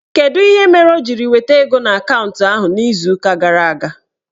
Kedụ ihe mere o jiri weta ego n'akantụ ahụ n'izuụka gara aga?